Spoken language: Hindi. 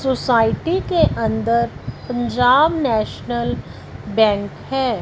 सोसाइटी के अंदर पंजाब नेशनल बैंक है।